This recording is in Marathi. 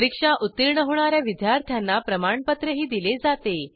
परीक्षा उत्तीर्ण होणा या विद्यार्थ्यांना प्रमाणपत्रही दिले जाते